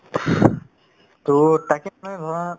to মানে ভাবা